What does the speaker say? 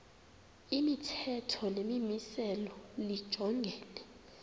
imithetho nemimiselo lijongene